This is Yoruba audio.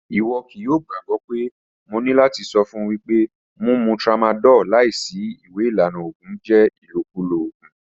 Iwọ kii yoo gbagbọ pe mo ni lati sọ fun wipe mumu tramadol laisi iwe ilana oògùn jẹ ilokulo oògùn.